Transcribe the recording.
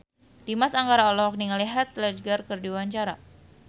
Dimas Anggara olohok ningali Heath Ledger keur diwawancara